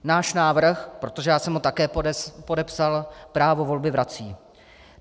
Náš návrh, protože já jsem ho také podepsal, právo volby vrací.